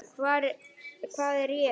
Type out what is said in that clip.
Hvað er ég?